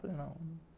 Falei, não.